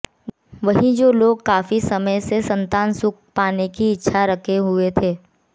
वहीं जो लोग काफी समय से संतान सुख पाने की इच्छा रखे हुए थे